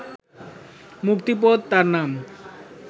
মুক্তিপদ তার নাম